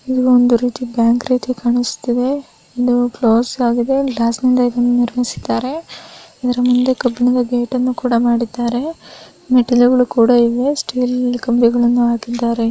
ಈ ಒಂದು ರೀತಿ ಬ್ಯಾಂಕ್ ರೀತಿ ಕಾಣಸ್ತಿದೆ ಏನೋ ಕ್ಲೋಸ್ ಆಗಿದೆ. ಗ್ಲಾಸ್ ನಿಂದಾ ಇದ್ದಂ ನಿರ್ಮಿಸಿದ್ದಾರೆ. ಇದ್ರ ಮುಂದೆ ಕಬ್ಬಿಣದ ಗೇಟ್ ಅನ್ನು ಕೂಡಾ ಮಾಡಿದ್ದಾರೆ. ಮೆಟ್ಟಲು ಕೂಡಾ ಇವೆ. ಸ್ಟೀಲ್ ಕಂಬಿಗಳು ಕೂಡಾ ಹಾಕಿದ್ದಾರೆ.